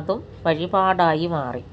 അതും വഴിപാടായി മാറി